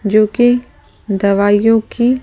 जो कि दवाइयों की--